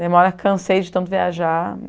Daí uma hora, cansei de tanto viajar.